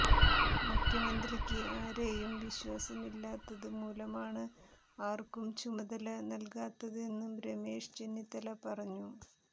മുഖ്യമന്ത്രിക്ക് ആരെയും വിശ്വാസമില്ലാത്തത് മൂലമാണ് ആർക്കും ചുമതല നൽകാത്തതെന്നും രമേശ് ചെന്നിത്തല പറഞ്ഞു